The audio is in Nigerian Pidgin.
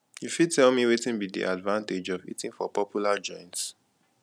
you fit tell me wetin be di advantage of eating for popular joints